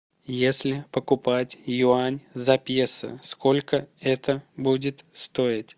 если покупать юань за песо сколько это будет стоить